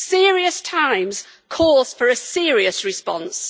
Serious times call for a serious response.